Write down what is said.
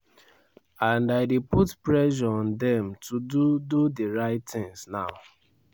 and i dey put pressure on dem to do do di right tins now.